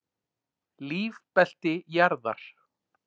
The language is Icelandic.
Lífbelti jarðar.